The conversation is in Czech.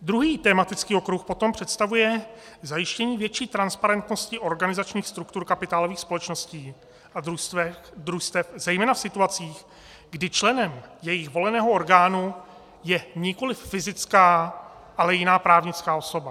Druhý tematický okruh potom představuje zajištění větší transparentnosti organizačních struktur kapitálových společností a družstev, zejména v situacích, kdy členem jejich voleného orgánu je nikoliv fyzická, ale jiná právnická osoba.